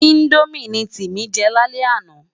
Indómi ni Timi jè lálè àná